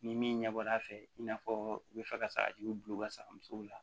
Ni min ɲɛbɔ a fɛ i n'a fɔ u bɛ fɛ ka sagajiw bila u ka safunɛ musow la